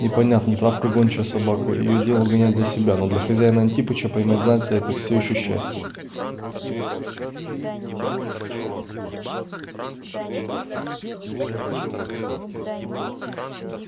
и понятно травка гончая собака и её дело гонять для себя но для хозяина-антипыча поймать зайца это всёе ещё счастье